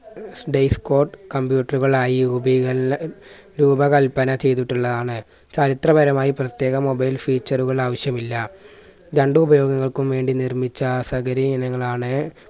computer കളായി രൂപീകൽ രൂപകല്പന ചെയ്തിട്ടുള്ളതാണ്. ചരിത്ര പരമായി പ്രത്യേക mobile feature കൾ ആവശ്യമില്ല. രണ്ട്‌ ഉപയോഗങ്ങൾക്കും വേണ്ടി നിർമ്മിച്ച സഗരയിനങ്ങൾ ആണ്